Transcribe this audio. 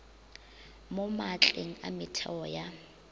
mo maatleng a metheo ya